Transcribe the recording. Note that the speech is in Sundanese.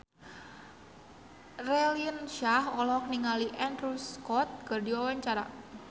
Raline Shah olohok ningali Andrew Scott keur diwawancara